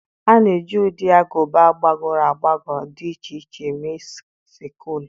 A na-eji ụdị agụba gbagọrọ agbagọ dị iche iche mee Sikụlụ.